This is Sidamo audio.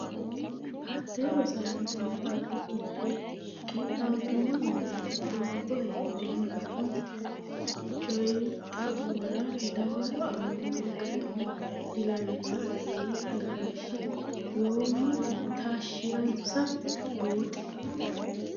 Hatte Rosaanote maxaafi giddo qixxaabbino yannara doogo heedheenna kuni coyi xa muwara dawaro aane noo garinni dilawannoe yii galashshi Yoommoti taashshi ransa buuxi.